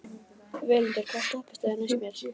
Völundur, hvaða stoppistöð er næst mér?